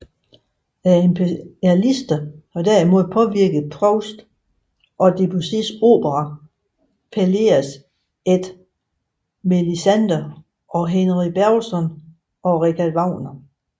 Impressionisterne har derimod påvirket Proust som Debussys opera Pelleas et Mélisande og Henri Bergson og Richard Wagner